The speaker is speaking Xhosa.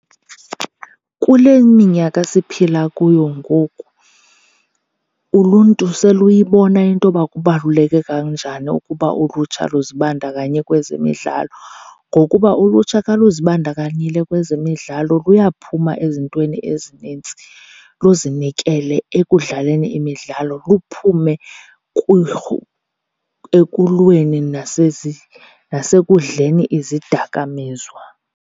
Kule minyaka siphila kuyo ngoku uluntu seluyibona into yoba kubaluleke kanjani ukuba ulutsha luzibandakanye kwezemidlalo. Ngokuba ulutsha ka luzibandakanyile kwezemidlalo luyaphuma ezintweni ezinintsi luzinikele ekudlaleni imidlalo, luphume ekulweni nasekudleni izidakamiswa.